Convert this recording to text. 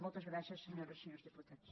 moltes gràcies senyores i senyors diputats